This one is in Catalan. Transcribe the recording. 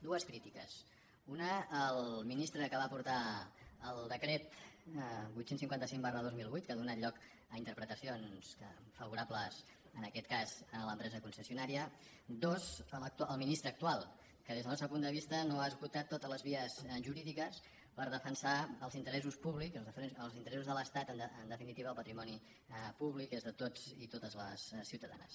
dues crítiques una al ministre que va portar el decret vuit cents i cinquanta cinc dos mil vuit que ha donat lloc a interpretacions favorables en aquest cas a l’empresa concessionària dues al ministre actual que des del nostre punt de vista no ha esgotat totes les vies jurídiques per defensar els interessos públics els interessos de l’estat en definitiva el patrimoni públic que és de tots i totes les ciutadanes